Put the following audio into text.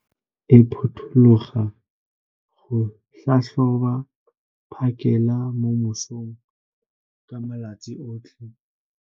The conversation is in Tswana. Ngaka ya me e potologa go tlhatlhoba phakêla mo mosong ka malatsi otlhe.